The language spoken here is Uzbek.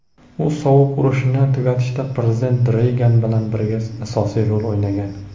u "sovuq urush"ni tugatishda Prezident Reygan bilan birga asosiy rol o‘ynagan.